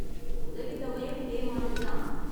உதவித் தொகையும் இதே மாதிரி தான்.